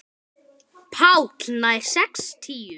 PÁLL: Nær sextíu.